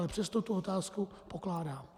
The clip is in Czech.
Ale přesto tu otázku pokládám.